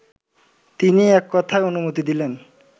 তিনি এককথায় অনুমতি দিলেন